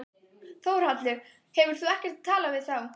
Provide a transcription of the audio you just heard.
Þórhallur: Hefur þú ekkert talað við þá?